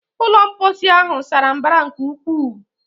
Ulọ mposi ahụ sara mbara nke ukwuu